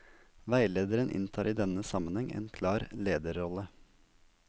Veilederen inntar i denne sammenheng en klar lederrolle.